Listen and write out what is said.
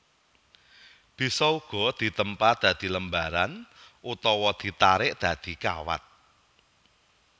Bisa uga ditempa dadi lembaran utawa ditarik dadi kawat